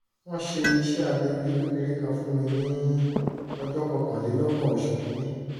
wọ́n ṣe iṣẹ́ abẹ ojú kékeré kan fún mi ní ọjọ́ kọkànlélọ́gbọ̀n oṣù kìíní